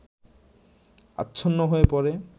আচ্ছন্ন হয়ে পড়ে